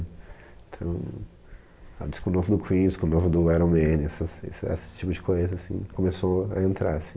Então, ah, o disco novo do Queen, o disco novo do Iron Maiden, essas esse esse tipo de coisa, assim, começou a entrar, assim.